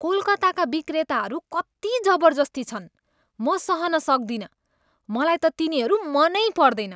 कोलकातामा विक्रेताहरू कति जबर्जस्ती छन्, म सहन सक्दिनँ। मलाई त तिनीहरू मनै पर्दैन।